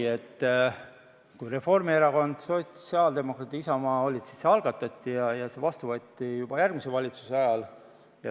Kui valitsuses olid Reformierakond, sotsiaaldemokraadid ja Isamaa, siis see algatati, vastu võeti see aga juba järgmise valitsuse ajal.